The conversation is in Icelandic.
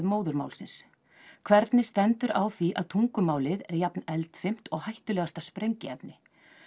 móðurmálsins hvernig stendur á því að tungumálið er jafneldfimt og hættulegasta sprengiefni